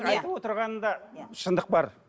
айтып отырғанында шындық бар